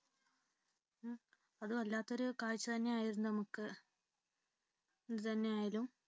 അത് വല്ലാത്തൊരു കാഴ്ച തന്നെയായിരുന്നു നമുക്ക് എന്തുതന്നെയായാലും